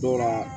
Dɔw la